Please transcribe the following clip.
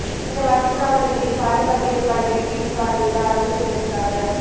இந்த வாக்குச் சாவடிகளில் பாதுகாப்பு ஏற்பாடுகளை நேரில் பார்வையிட்டு ஆய்வு செய்வதற்காக